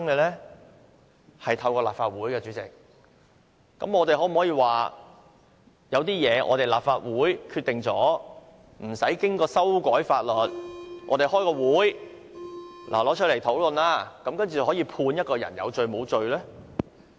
是透過立法會制定的，那麼，我們可否說由於法例是由立法會制定，故不需要經過修改法例，只需立法會舉行一次會議，提出來討論，然後便可以判決一個人有罪或無罪呢？